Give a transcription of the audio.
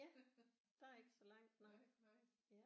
Ja der er ikke så langt nej ja